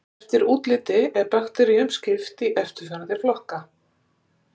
Eftir útliti er bakteríum skipt í eftirfarandi flokka